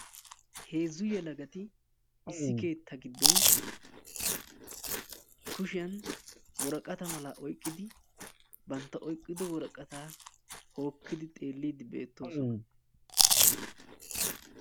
heezzu yelagati issi keetta giddon kushshiyan woraqata malaa oyqqidi bantta oyqqiddo woraqataa hokkidi xeellidi beettoosona.